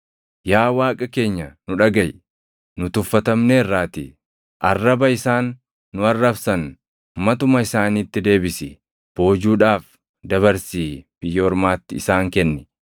Yaa Waaqa keenya nu dhagaʼi; nu tuffatamneerraatii. Arraba isaan nu arrabsan matuma isaaniitti deebisi. Boojuudhaaf dabarsii biyya ormaatti isaan kenni.